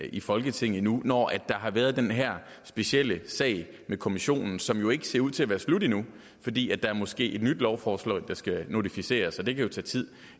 i folketinget endnu og når der har været den her specielle sag med kommissionen som jo ikke ser ud til at være slut endnu fordi der måske er et nyt lovforslag der skal notificeres det kan jo tage tid